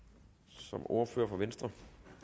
som ordfører for venstre